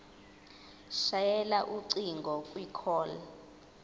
shayela ucingo kwicall